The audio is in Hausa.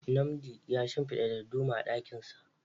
Nnamdi ya shimfida darduma a dakinsa.